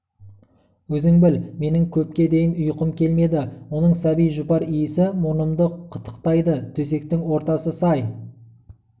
өзің біл менің көпке дейін ұйқым келмеді оның сәби жұпар иісі мұрнымды қытықтайды төсектің ортасы сай